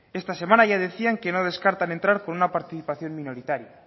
esta semana ya decían que no descartan entrar con una participación minoritaria